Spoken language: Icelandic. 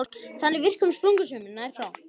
Það er í virkum sprungusveimi sem nær frá